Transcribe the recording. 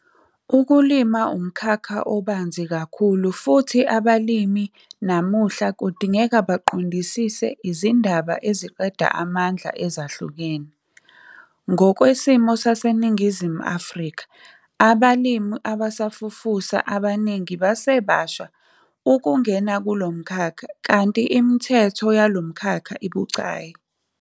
Ukulima umkhakha obanzi kakhulu futhi abalimi namuhla kudingeka baqondisise izindaba eziqeda amandla ezahlukene. Ngokwesimo saseNingizimu Afrika, abalimi abasafufusa kaningi basebasha ukungena kulo mkhakha kanti imithetho yalo mkhakha ibucayi.